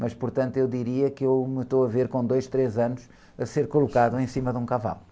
Mas, portanto, eu diria que eu me estou a ver com dois, três anos a ser colocado em cima de um cavalo.